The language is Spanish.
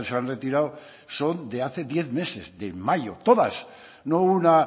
han retirado son de hace diez meses de mayo todas no una